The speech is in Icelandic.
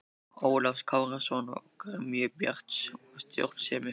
Ólafs Kárasonar og gremju Bjarts og stjórnsemi.